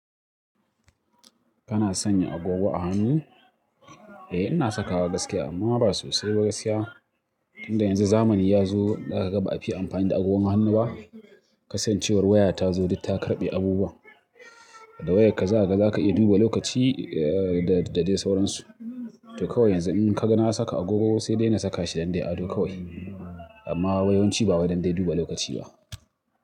Kana sanya agogo a hannu? Eh ina sakawa gaskiya amma ba sosai ba gaskiya. Tunda yanzu zamani yazo zaka ga ba'a fiye amfani da agogon hannu ba. Kasancewar waya ta zo duk ta karɓe abubuwa. Da wayakka za kaga za ka iya duba lokaci da, da dai sauransu. To kawai yanzu in ka ga na saka agogo sai dai na saka shi dan dai ado kawai. Amma yewanci ba wai dan duba lokaci ba.